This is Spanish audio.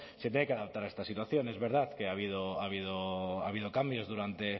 se tiene que adaptar a esta situación es verdad que ha habido cambios durante